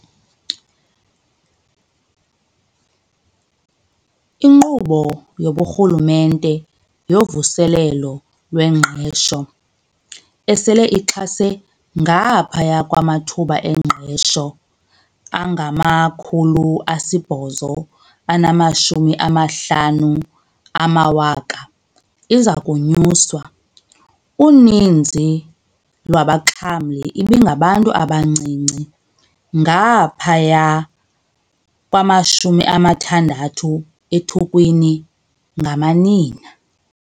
INkqubo yobuRhulumente yoVuselelo lweNgqesho, esele ixhase ngaphaya kwamathuba engqesho angama-850 000, iza konyuswa. Uninzi lwabaxhamli ibingabantu abancinci, ngaphaya kwama-60 ekhulwini ngamanina.